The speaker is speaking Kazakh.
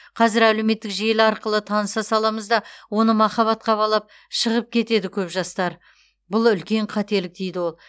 қазір әлеуметтік желі арқылы таныса саламыз да оны махаббатқа балап шығып кетеді көп жастар бұл үлкен қателік дейді ол